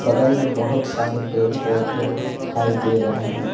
बगल में बहोत सारे पेड़ पौधे दिखाई दे रहे हैं।